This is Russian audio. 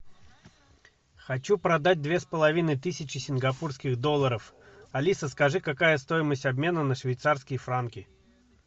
хочу продать две с половиной тысячи сингапурских долларов алиса скажи какая стоимость обмена на швейцарские франки